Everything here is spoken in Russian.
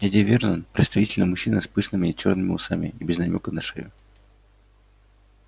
дядя вернон представительный мужчина с пышными чёрными усами и без намёка на шею